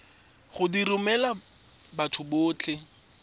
go di romela batho botlhe